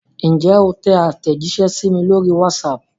Ǹjẹ́ o tẹ àtẹ̀jíṣẹ́ sí mi lórí WhatsApp?